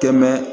Tɛmɛ